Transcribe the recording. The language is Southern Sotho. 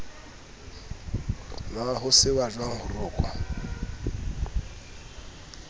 na ho sehwajwang ho rokwa